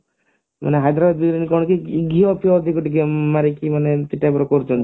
ମାନେ ହାଇଦ୍ରାବାଦୀ ବିରିୟାନୀ କଣ କି ଘିଅ ଫିଅ ଟିକେ ଟିକେ ମାରିକି ମାନେ ଏମତି type ର କରୁଛନ୍ତି